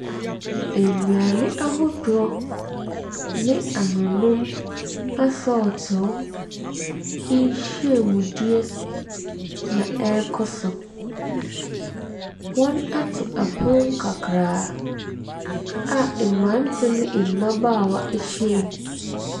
Nnuane ahodoɔ ne anonnom asɔɔteoo nhyiamudie na ɛrekɔ so. Wɔato pono kakraa a mmeranteɛ ne mmabaawa ahyiam.